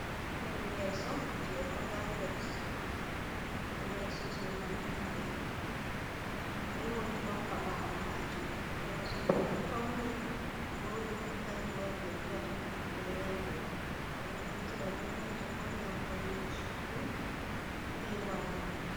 Hore leso je royal ɓet, leso je lamlamɓe, be woldrop ha ɓawo majum, leso mai ɗo fauni vodi kanju waɗi be vi'ata ɗum royal bet. Ɓedo naftira be majum on gam faunugo sudu be walugo.